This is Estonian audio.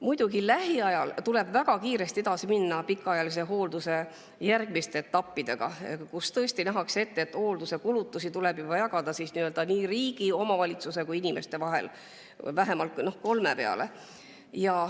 Muidugi, lähiajal tuleb väga kiiresti edasi minna pikaajalise hoolduse järgmiste etappidega, nähes ette, et hoolduse kulutusi tuleb jagada riigi, omavalitsuse ja inimese vahel, vähemalt kolme peale.